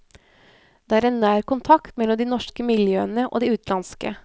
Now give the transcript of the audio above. Det er en nær kontakt mellom de norske miljøene og de utenlandske.